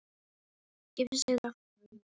Skipin sigla.